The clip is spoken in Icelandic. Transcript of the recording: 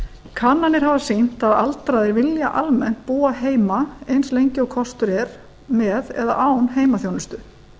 kannanir hafa sýnt að aldraðir vilja almennt búa heima eins lengi og kostur er með eða án heimaþjónustu